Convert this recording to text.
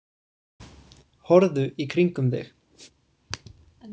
Horfðu í kringum þig.